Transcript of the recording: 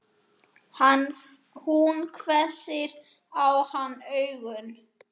Hún hvessir á hann augun.